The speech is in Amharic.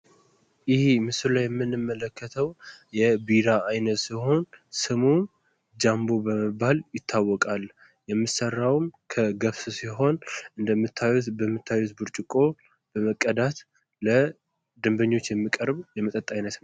ይህ ምስሉ ላይ የምንመለከተው የቢራ አይነት ሲሆን ስሙ ጃምቦ በመባል ይታወቃል። የሚሰራው ከገብስ ሲሆን እንደምታዩት በሚታየው ብርጭቆ በመቀዳት ለደንበኞች የሚቀርብ የመጠጥ አይነት ነው።